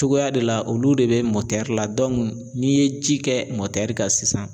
Cogoya de la olu de bɛ la n'i ye ji kɛ kan sisan.